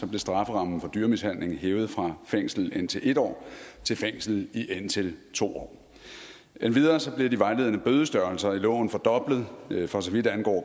blev strafferammen for dyremishandling hævet fra fængsel i indtil en år til fængsel i indtil to år endvidere blev de vejledende bødestørrelser i loven fordoblet for så vidt angår